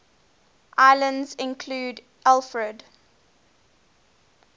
islands included alfred